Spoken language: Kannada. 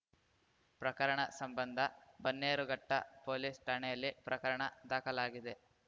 ಪ್ರಕರಣ ಸಂಬಂಧ ಬನ್ನೇರುಘಟ್ಟಪೋಲಿಸ್‌ ಠಾಣೆಯಲ್ಲಿ ಪ್ರಕರಣ ದಾಖಲಾಗಿದೆ